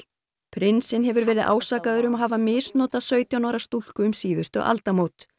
prinsinn hefur verið ásakaður um að hafa misnotað sautján ára stúlku um síðustu aldamót